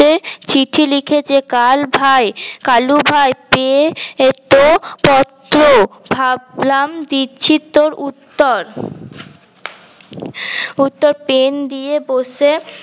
তে চিঠি লিখেছে কাল ভাই কালু ভাই পেয়ে তো পত্র ভাবলাম দিচ্ছি তর উত্তর উত্তর pen দিয়ে বসে